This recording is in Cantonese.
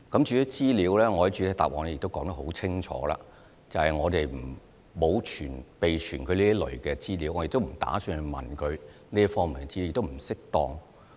至於資料方面，我在主體答覆說得很清楚，便是我們沒有備存這類資料，我亦不打算向他們查問這方面的資料，這是不適當的。